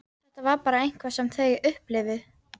Þetta var bara eitthvað sem þau upplifðu.